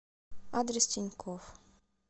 адрес тинькофф